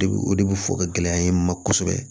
De bi o de bi fɔ ka gɛlɛya ye n ma kosɛbɛ